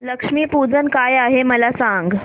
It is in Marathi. लक्ष्मी पूजन काय आहे मला सांग